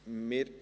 2019.RRGR.245